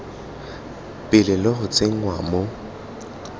pele le go tsenngwa mo